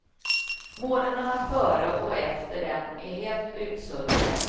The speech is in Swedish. Månaderna före och efter den är helt utsuddade.